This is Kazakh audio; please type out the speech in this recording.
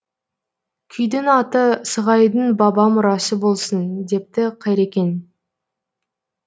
күйдің аты сығайдың баба мұрасы болсын депті қайрекең